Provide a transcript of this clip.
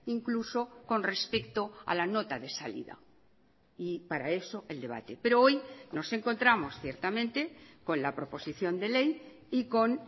incluso con respecto a la nota de salida y para eso el debate pero hoy nos encontramos ciertamente con la proposición de ley y con